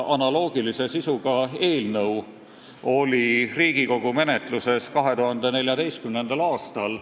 Analoogilise sisuga eelnõu oli Riigikogu menetluses 2014. aastal.